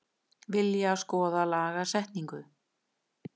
Vilja skoða lagasetningu